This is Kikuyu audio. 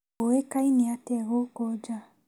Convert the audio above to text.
Ũĩkaine atĩa gũkũ nja?